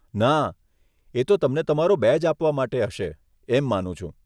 ના, એ તો તમને તમારો બેજ આપવા માટે હશે, એમ માનું છું.